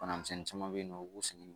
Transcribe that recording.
Bana misɛnnin caman be yen nɔ u b'u sigi